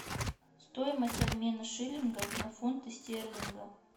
стоимость обмена шиллингов на фунты стерлинга